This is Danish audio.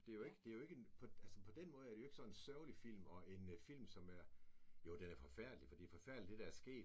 Det jo ikke det jo ikke en på altså på den måde er det jo ikke sådan en sørgelig film og en film som er jo den er forfærdelig fordi det er forfærdeligt det der er sket